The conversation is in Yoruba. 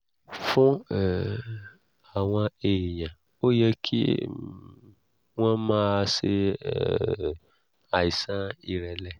fún um àwọn èèyàn ó yẹ kí um wọ́n máa ṣe um àìsàn ìrẹ̀lẹ̀